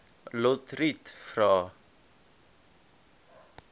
lotriet vra